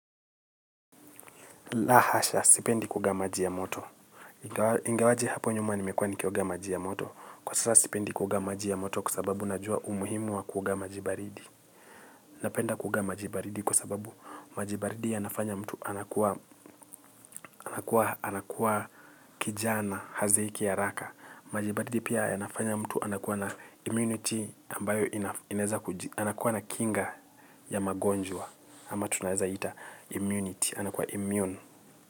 La hasha, sipendi kuoga maji ya moto. Ingawaje hapo nyuma nimekuwa nikioga maji ya moto. Kwa sasa sipendi kuoga maji ya moto kwa sababu najua umuhimu wa kuoga maji baridi. Napenda kuoga maji baridi kwa sababu maji baridi yanafanya mtu anakuwa kijana hazeeki haraka. Maji baridi pia yanafanya mtu anakuwa na immunity ambayo inaweza kujia. Anakuwa na kinga ya magonjwa. Ama tunaeza ita immunity. Anakuwa immune.